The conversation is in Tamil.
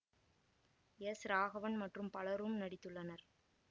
எஸ் ராகவன் மற்றும் பலரும் நடித்துள்ளனர்